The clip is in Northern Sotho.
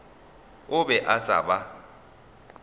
a be a sa ba